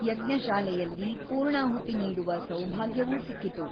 ಯಜ್ಞಶಾಲೆ ಯಲ್ಲಿ ಪೂರ್ಣಾಹುತಿ ನೀಡುವ ಸೌಭಾಗ್ಯವೂ ಸಿಕ್ಕಿತು.